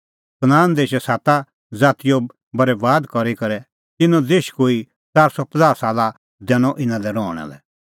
कनान देशै साता ज़ातीओ बरैबाद करी करै तिन्नों देश कोई 450 साला लै दैनअ इना लै रहणा लै